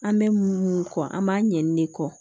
An bɛ mun kɔ an b'a ɲɛni de kɔ